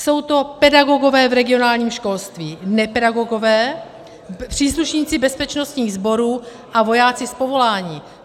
Jsou to pedagogové v regionálním školství, nepedagogové, příslušníci bezpečnostních sborů a vojáci z povolání.